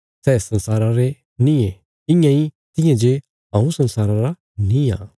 सै संसारा रे नींये इयां इ तियां जे हऊँ संसारा रा निआं